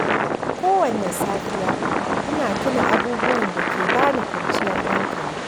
Kowanne safiya, ina tuna abubuwan da ke ba ni kwanciyar hankali.